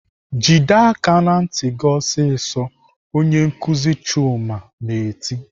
"Jide aka ná ntị gị ọsịsọ!" Onye nkuzi Chuma na-eti.